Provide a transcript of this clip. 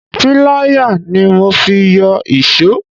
Pilaya ni mo fi yọ iso.